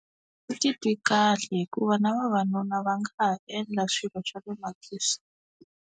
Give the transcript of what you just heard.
Titwi kahle hikuva na vavanuna va nga ha endla swilo swa le makhixini.